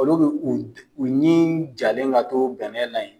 Olu be u ɲin jalen ka to bɛnɛ la yen.